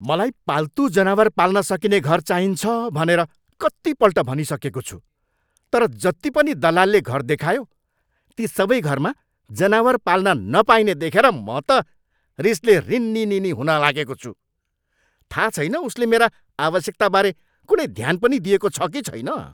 मलाई पाल्तु जनावर पाल्न सकिने घर चाहिन्छ भनेर कतिपल्ट भनिसकेको छु तर जति पनि दलालले घर देखायो ती सबै घरमा जनावर पाल्न नपाइने देखेर म त रिसले रिनिनिनी हुन लागेको छु। थाहा छैन उसले मेरा आवश्यकताबारे कुनै ध्यान पनि दिएको छ कि छैन।